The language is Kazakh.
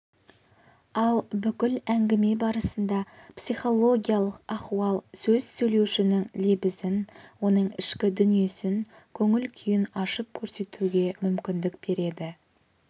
ал бүкіл әңгіме барысында психологиялық ахуал сөз сөйлеушінің лебізін оның ішкі дүниесін көңіл-күйін ашып көрсетуге мүмкіндік береді